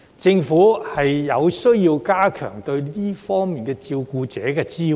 政府有需要加強對這些照顧者的支援。